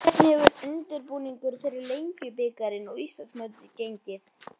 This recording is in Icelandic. Hvernig hefur undirbúningur fyrir Lengjubikarinn og Íslandsmótið gengið?